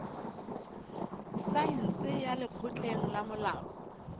saense ya lekgotleng la molao